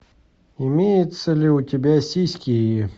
имеется ли у тебя сиськи